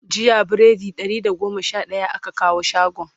jiya biredi Ɗari da goma Sha daya aka kawo shagon